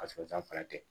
A sɔgɔsɔgɔ fana tɛ